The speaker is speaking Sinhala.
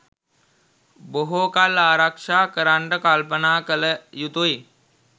බොහෝ කල් ආරක්‍ෂා කරන්ට කල්පනා කළ යුතුයි.